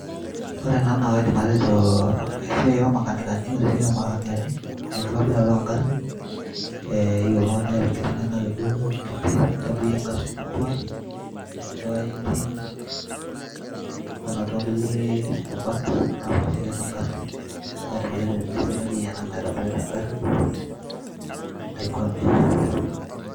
ore ena naa kaidim atejo esiai ormakanikani ore esiai ormakanikani naa enkitobirata ongarrin eyieu oltung'ani niata enkiti ng'eno akeduo kiti nintobirie ingarrin atua atua engine onatua nkulie rubat napaasha tiatua engarri neeku kaidim atejo tene eselenkei ena naitobirita engarri naikwame.